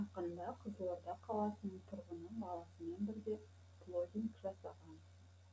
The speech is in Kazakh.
жақында қызылорда қаласының тұрғыны баласымен бірге плоггинг жасаған